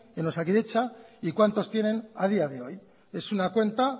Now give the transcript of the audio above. en osakidetza y cuántos tienen a día de hoy es una cuenta